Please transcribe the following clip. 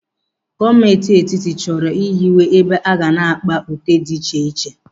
Gọọmenti Etiti chọrọ ịhiwe ebe aga na-akpa ute dị iche iche.